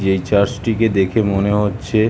এই চার্চ -টিকে দেখে মনে হচ্ছে ।